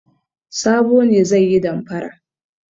Sabo ne zai yi damfara.